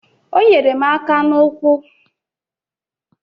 O nyere m aka n'ụkwụ.